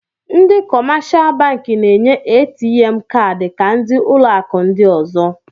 Ndị kọmáshá bankị Na-enye ATM káádi ka ndị ụlọ akụ ndị ọ̀zọ